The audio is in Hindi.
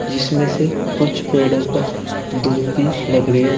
जिसमें से कुछ पेड़ों पर धूप भी लग रही है।